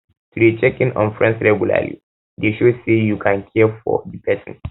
to de check in on friends um regularly de show say you you care for um di persin